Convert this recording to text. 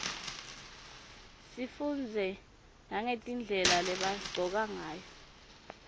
sifundze nagetindlela lebagcoka ngayo